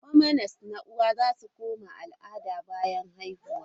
Hormones na uwa za su koma al'ada bayan haihuwa.